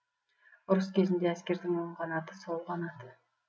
ұрыс кезінде әскердің оң қанаты сол қанаты